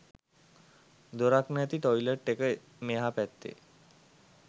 දොරක් නැති ටොයිලට් එක මෙහා පැත්තේ